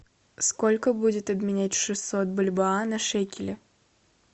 сколько будет обменять шестьсот бальбоа на шекели